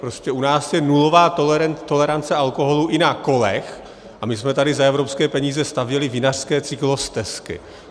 Prostě u nás je nulová tolerance alkoholu i na kolech, a my jsme tady za evropské peníze stavěli vinařské cyklostezky.